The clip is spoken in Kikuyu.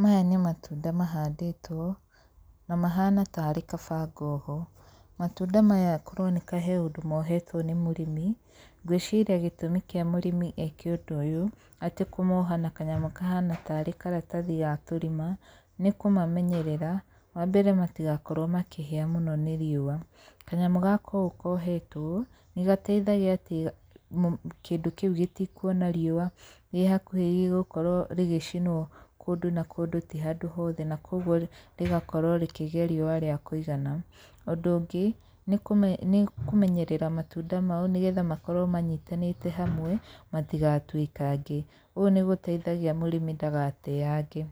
Maya nĩ matunda mahandĩtwo, na mahana tarĩ kabangoho. Matunda maya kũroneka he ũndũ mohetwo nĩ mũrĩmi. Ngwĩciria gĩtũmi kĩa mũrĩmi eke ũndũ ũyũ atĩ kũmoha na kanyamũ kahana tarĩ karatathi ga tũrima, nĩ kũmamenyerera, wa mbere matigakorwo makĩhĩa mũno nĩ riũa. Kanyamũ gaka ũũ kohetwo, nĩ gateithagia atĩ kĩndũ kĩu gĩtikuona riũa rĩ hakuhĩ rĩgũkorwo rĩgĩcinwo o kũndũ na kũndũ ti handũ hothe na kũguo rĩgakorwo rĩkĩgĩa riũa rĩa kũigana. Ũndũ ũngĩ, nĩ kũmenyerera matunda mau nĩgetha makorwo manyitanĩte hamwe, matigatuĩkange. Ũũ nĩ gũteithagia mũrĩmi ndagateange.